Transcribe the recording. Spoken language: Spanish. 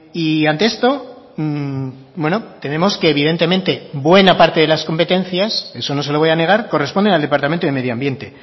y ante esto tenemos que evidentemente buena parte de las competencias eso no se lo voy a negar corresponden al departamento de medio ambiente